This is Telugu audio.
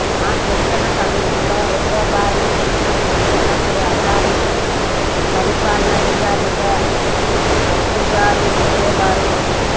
మా శిక్షణ సమయంలో రెండో భాగం శిక్షణకు వచ్చినప్పుడు అకాడమి పరిపాలనాధికారిగా అప్పు గారు ఉండేవారు